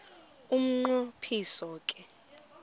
umnqo phiso ke